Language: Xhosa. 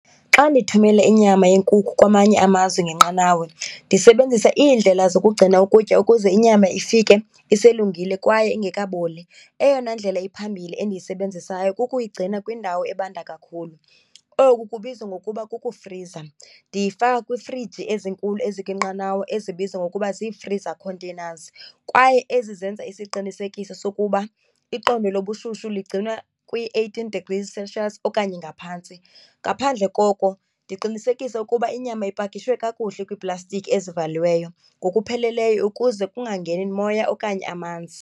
Xa ndithumela inyama yenkukhu kwamanye amazwe ngenqanawa ndisebenzisa iindlela zokugcina ukutya ukuze inyama ifike iselungile kwaye ingekaboli. Eyona indlela iphambili endiyisebenzisayo kukuyigcina kwindawo ebanda kakhulu, oku kubizwa ngokuba kukufriza. Ndiyifaka kwiifriji ezinkulu ezikwinqanawa ezibizwa ngokuba zii-freezer containers kwaye ezizenza isiqinisekiso sokuba iqondo lobushushu ligciwanwa kwi-eighteen degrees Celcius okanye ngaphantsi. Ngaphandle koko, ndiqinisekise ukuba inyama ipakishwe kakuhle kwiiplastiki ezivaliweyo ngokupheleleyo ukuze kungangeni moya okanye amanzi.